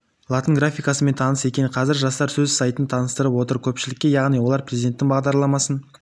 латын графикасымен таныс екен қазір жастар өз сайтын таныстырып отыр көпшілікке яғни олар президенттің бағдарламасын